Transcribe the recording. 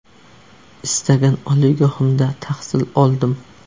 Istagan oliygohimda tahsil oldim.